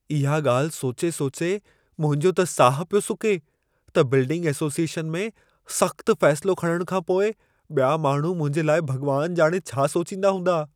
इहा ॻाल्हि सोचे सोचे मुंहिंजो त साहु पियो सुके, त बिल्डिंग एसोसिएशन में सख़्तु फ़ैसिलो खणण खां पोइ ॿिया माण्हू मुंहिंजे लाइ भॻवानु ॼाणे छा सोचींदा हूंदा।